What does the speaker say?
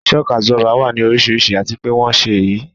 Shock Absorber wà ní oríṣiríṣi àti pé wón ṣe é yí